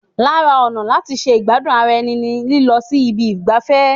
Lara ọ̀nà láti ṣe ìgbádùn ara ẹni ni lílọ sí ibi ìgbafẹ́.